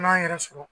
N'an yɛrɛ sɔrɔ